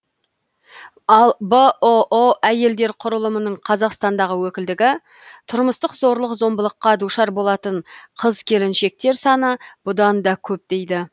ал бұұ әйелдер құрылымының қазақстандағы өкілдігі тұрмыстық зорлық зомбылыққа душар болатын қыз келіншектер саны бұдан да көп дейді